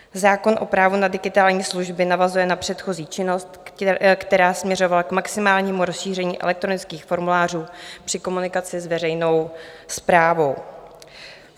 Zákon o právu na digitální služby navazuje na předchozí činnost, která směřovala k maximálnímu rozšíření elektronických formulářů při komunikaci s veřejnou správou.